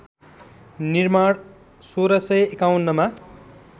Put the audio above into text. निर्माण १६५१ मा